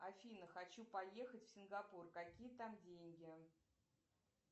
афина хочу поехать в сингапур какие там деньги